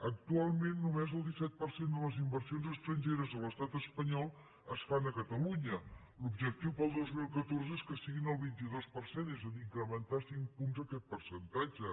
actualment només el disset per cent de les inversions estrangeres a l’estat espanyol es fan a catalunya l’objectiu per al dos mil catorze és que siguin el vint dos per cent és a dir incrementar cinc punts aquest percentatge